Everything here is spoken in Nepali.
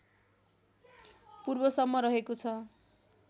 पूर्वसम्म रहेको छ